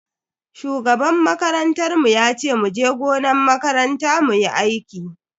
Shugaban makarantar mu yace muje gonan makaranta muyi aiki.